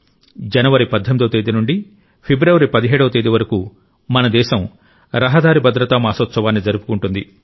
జనవరి 18వ తేదీ నుండి ఫిబ్రవరి 17 వ తేదీ వరకు మన దేశం రహదారి భద్రతా మాసోత్సవాన్ని జరుపుకుంటుంది